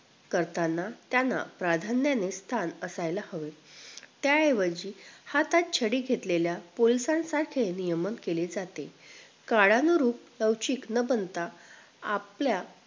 करताना त्यांना प्राधान्याने स्थान असायला हवं त्या ऐवजी हातात छडी घेतलेल्या पोलिसांसारखे नियम केले जाते. काळानुरूप लौचीक न बनता आपल्या